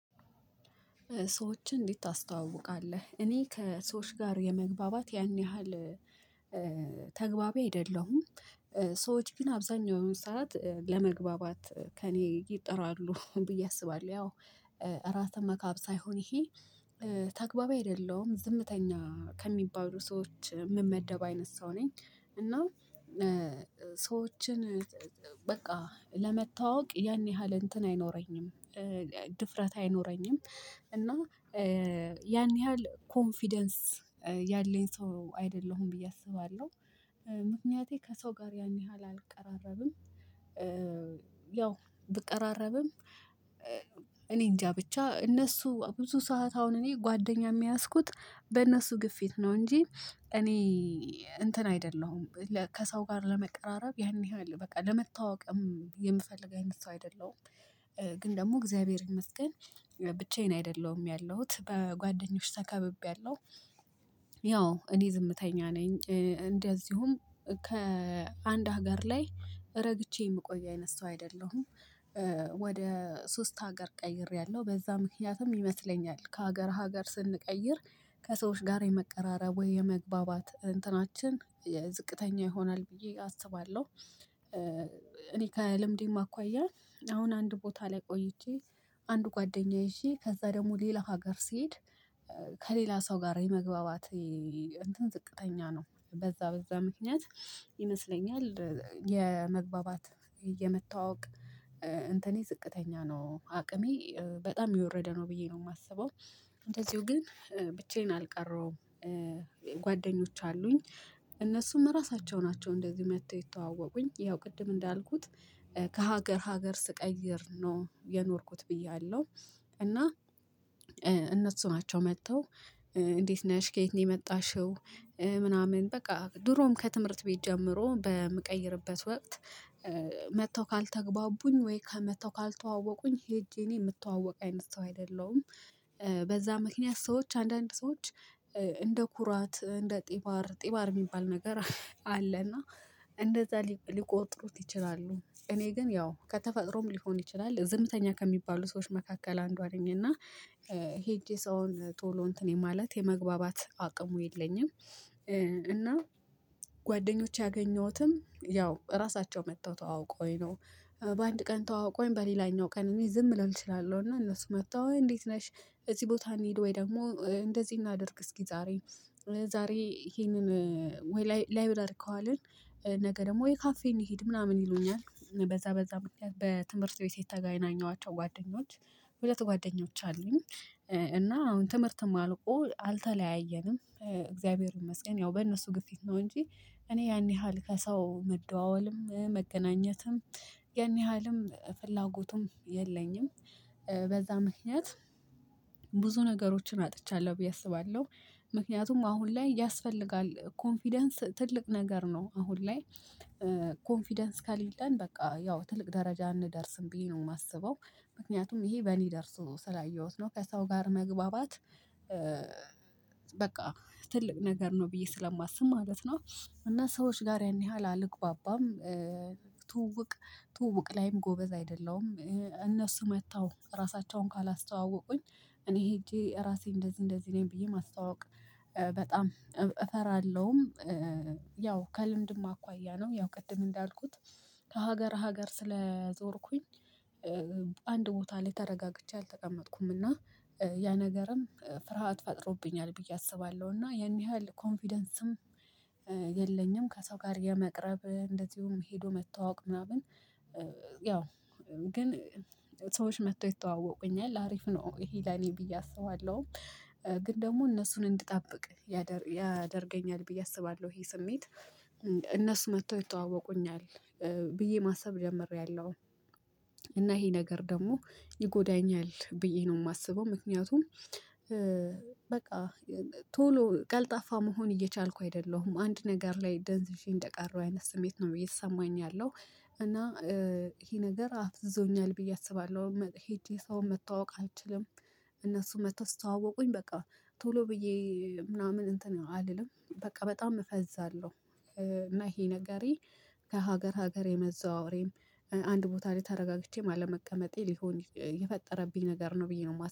ሰዎችን እንዴት ታስተዋውቃለህ? እኔ ከሰዎች ጋር የመግባባት ያን ያህል አይደለሁም ሰዎች ግን አብዛኛው የሆነ ሰዓት ለመግባባት ከእኔ ይጥራሉ ብዬ አስባለሁ ያው ራስህን መካብ ሳይሆን ይሄ ተግባቢ አይደለሁም ዝምተኛ ከሚባሉ ሰዎች ምመደብ አይነት ሰው ነኝ እና ሰዎችን በቃ ለመተዋወቅ ያን ያህል እንትን አይኖረኝም፣ ድፍረት አይኖረኝም፣ እና ያን ያህል ኮንፊደንስ ያለኝ ሰው አይደለሁም ብዬ አስባለሁ። ምክንያቴ ከሰው ጋር ያን ያህል አልቀራረብም ያው ብቀራረብም እኔ እንጃ ብቻ እነሱ ብዙ ሰዓት አሁን እኔ ጓደኛም የያዝኩት በእነሱ ግፊት ነው እንጂ እኔ እንትን አይደለሁም ከሰው ጋር ለመቀራረብ ያን ያህል በቃ ለመተዋወቅም የምፈልግ አይነት ሰው አይደለሁም ግን ደግሞ እግዚአብሔር ይመስገን ብቻዬን አይደለሁም ያለሁት በጓደኞች ተከብቤአለሁ። ያው እኔ ዝምተኛ ነኝ እንደዚሁም ከአንድ ሀገር ላይ ረግቼ የምቆይ አይነት ሰው አይደለሁም፣ ወደ ሶስት ሀገር ቀይሬያለሁ። በዛ ምክንያትም ይመስለኛል ከሀገር ሀገር ስንቀይር ከሰዎች ጋር የመቀራረብ ወይ የመግባባት እንትናችን ዝቅተኛ ይሆናል ብዬ አስባለሁ። እኔ ከልምዴም አኳያ አሁን አንድ ቦታ ላይ ቆይቼ አንድ ጓደኛ ይዤ ከዛ ደግሞ ሌላ ሀገር ሲሄድ ከሌላ ሰው ጋር የመግባባት ዝቅተኛ ነው በዛ በዛ ምክንያት ይመስለኛል የመግባባት፣ የመተዋወቅ እንትኔ ዝቅተኛ ነው አቅሜ በጣም የወረደ ነው ብዬ ነው የማስበው እንደዚሁ ግን ብቻዬን አልቀረሁም። ጓደኞች አሉኝ እነሱም ራሳቸው ናቸው እንደዚሁ መጥተው የተዋወቁኝ ይኸው ቅድም እንዳልኩት ከሀገር ሀገር ስቀይር ነው የኖርኩት ብያለሁ እና ናቸው መጥተው እንዴት ነሽ ከየት ነሽ የመጣሽው ምናምን በቃ ድሮም ከትምህርት ቤት ጀምሮ በምቀይርበት ወቅት መጥተው ካልተግባቡኝ ወይ መጥተው ካልተዋወቁኝ ሄጄ እኔ የምትተዋወቅ አይነት ሰው አይደለሁም። በዛ ምክንያት ሰዎች አንዳንድ ሰዎች እንደ ኩራት እንደ ጢባር ጢባር የሚባል ነገር አለ እና እንደዛ ሊቆጥሩት ይችላሉ፣ እኔ ግን ያው ከተፈጥሮም ሊሆን ይችላል ዝምተኛ ከሚባሉ ሰዎች መካከል አንዷ ነኝና ሄጄ ሰውን ቶሎ እንትን የማለት የመግባባት አቅሙ የለኝም። እና ጓደኞች ያገኘሁትም ያው ራሳቸው መጥተው ተዋውቀዉኝ ነው በአንድ ቀን ተዋውቀዉኝ በሌላኛው ቀን እኔ ዝም ልል እችላለሁ እና እነሱ መጥተው እ እንዴት ነሽ እዚህ ቦታ እንሂድ ወይ ደግሞ እንደዚህ እናድርግ እስኪ ዛሬ ዛሬ ይሄንን ወይ ላይብረሪ ከዋልን ነገ ደግሞ ወይ ካፌ እንሂድ ምናምን ይሉኛል በዛ በዛ ምክንያት በትምህርት ቤት የተገናኘኋቸው ጓደኞች ሁለት ጓደኞች አሉኝ። አሁን ትምህርትም አልቆ አልተለያየንም እግዚአብሔርን መስገን ያው በእነሱ ግፊት ነው እንጂ እኔ ያን ያህል ከሰው መደዋወልም፣ መገናኘትም፣ ያን ያህልም ፍላጎቱም የለኝም። በዛ ምክንያት ብዙ ነገሮችን አጥቻለሁ ብዬ አስባለሁ ምክንያቱም አሁን ላይ ያስፈልጋል ኮንፊደንስ ትልቅ ነገር ነው አሁን ላይ ኮንፊደንስ ከሌለን በቃ ያው ትልቅ ደረጃ አንደርስም ብዬ ነው የማስበው ምክንያቱም ይሄ በእኔ ደርሶ ስላየሁት ነው። ከሰው ጋር መግባባት በቃ ትልቅ ነገር ነው ብዬ ስለማስብ ማለት ነው እና ሰዎች ጋር ያን ያህል አልግባባም ትውውቅ ትውውቅ ላይም ጎበዝ አይደለም እነሱ መጥተው ራሳቸውን ካላስተዋወቁኝ እኔ ሄጄ ራሴ እንደዚህ እንደዚህ ነኝ ብዬ ማስተዋወቅ እፈራለሁም፣ ያው ከልምድም አኳያ ነው ያው ቅድም እንዳልኩት ከሀገር ሀገር ስለዞርኩኝ አንድ ቦታ ላይ ተረጋግቼ አልተቀመጥኩም እና ያ ነገርም ፍርሃት ፈጥሮብኛል ብዬ አስባለሁ እና ያን ያህል ኮንፊደንስም የለኝም። ከሰው ጋር የመቅረብ እንደዚሁም ሄዶ መተዋወቅ ምናምን ያው ግን መጥተው ይተዋወቁኛል አሪፍ ነው ይሄ ለኔ ብዬ አስባለሁም። ግን ደግሞ እነሱን እንድጠብቅ ያደርገኛል ብዬ አስባለሁ ይሄ ስሜት እነሱ መጥቶ ይተዋወቁኛል ብዬ ማሰብ ጀምሬያለሁ። እና ይሄ ነገር ደግሞ ይጎዳኛል ብዬ ነው የማስበው ምክንያቱም በቃ ቶሎ ቀልጣፋ መሆን እየቻልኩ አይደለሁም አንድ ነገር ላይ ደንዝዤ እንደቀረው አይነት ስሜት ነው ብዬ ተሰማኝ ያለው እና ይሄ ነገር አፍዞኛል ብዬ አስባለሁ ሄጄ ሰው መተዋወቅ አልችልም። እነሱ መተው ሲተዋወቁኝ በቃ ቶሎ ብዬ ምናምን እንትን አልልም በቃ በጣም እፈዛለሁ። እና ይሄ ነገሬ ከሀገር ሀገር የመዘዋወሬም አንድ ቦታ ላይ ተረጋግቼም አለመቀመጤ ሊሆን የፈጠረብኝ ነገር ነው ብዬ ነው የማስበው።